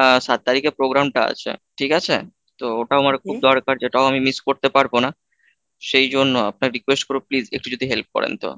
আ সাত তারিখে program টা আছে ঠিক আছে? তো ওটা আমার খুব দরকার যেটাও আমি miss করতে পারবো না, সেই জন্য আপনার request করবো please একটু যদি help করেন তো?